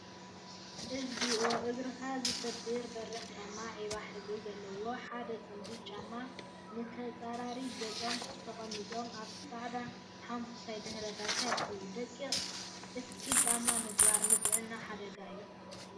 እግዚኦ! እግርካ ዝሰብር በሪክ ጫማ ዒባ ሕብሪ ዘለዎም ሓደ ፅምዲ ጫማ ንተፃራሪ ገፆም ተቀሚጦም አብ ፃዕዳ ሓመኩሽታይ ድሕረ ባይታ ይርከቡ፡፡ ደቂቅ እስፒል ጫማ ምግባር ንጥዕናካ ሓደጋ እዩ፡፡